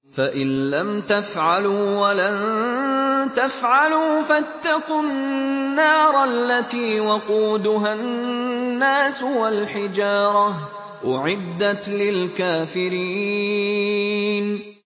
فَإِن لَّمْ تَفْعَلُوا وَلَن تَفْعَلُوا فَاتَّقُوا النَّارَ الَّتِي وَقُودُهَا النَّاسُ وَالْحِجَارَةُ ۖ أُعِدَّتْ لِلْكَافِرِينَ